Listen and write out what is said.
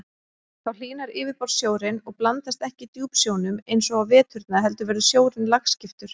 Þá hlýnar yfirborðssjórinn og blandast ekki djúpsjónum eins og á veturna heldur verður sjórinn lagskiptur.